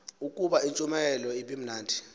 ukuba intshumayelo ibimnandi